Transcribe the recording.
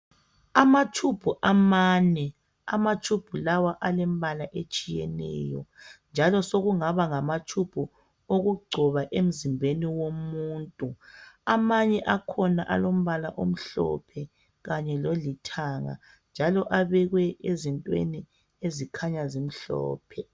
Amatshubhu amane alemibala etshiyeneyo njalo sokungaba ngawokugcoba umuntu amanye akhona alombala omhlophe kanye lolithanga njalo abekwe ezintweni ezikhanya zimhlophe.